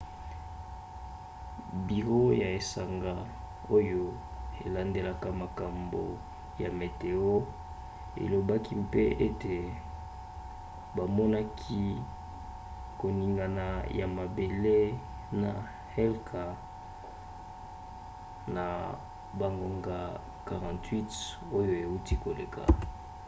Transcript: biro ya esanga oyo elandelaka makambo ya meteo elobaki mpe ete bamonaki koningana ya mabele na helka na bangonga 48 oyo euti koleka